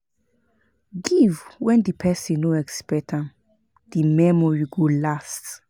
Give when di persin no expect am di memory go last